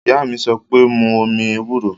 Ìyá mi sọ pé, mu omi ewúro!